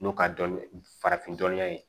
N'o ka dɔni farafin dɔnniya in